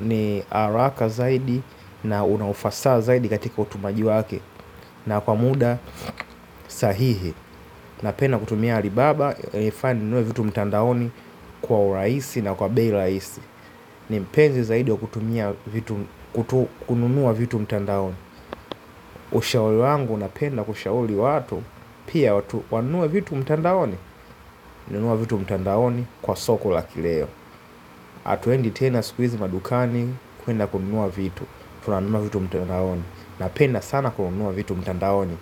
ni haraka zaidi na unaufasa zaidi katika utumaji wake. Na kwa muda sahihi napenda kutumia Alibaba ilifani ninunue vitu mtandaoni kwa urahisi na kwa bei rahisi. Ni mpenzi zaidi wa kutumia vitu kutu kununua vitu mtandaoni. Ushauri wangu napenda kushauri watu. Pia watu wanunue vitu mtandaoni. Nunua vitu mtandaoni kwa soko la kileo hatuendi tena siku hizi madukani. Kwenda kununua vitu tunanunua vitu mtandaoni. Napenda sana kununua vitu mtandaoni.